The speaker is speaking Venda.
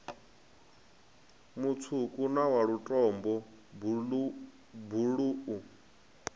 mutswuku na wa lutombo buluu